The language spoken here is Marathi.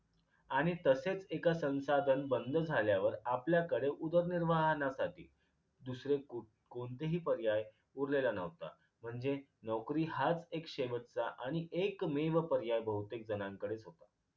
आणि तसेच एक संसाधन बंद झाल्यावर आपल्याकडे उदर्निर्वाहनासाठी दुसरे कु कोणतेही पर्याय उरलेला न्हवता म्हणजे नोकरी हाच एक शेवटचा आणि एकमेव पर्याय बहुतेक जणांकडेच होता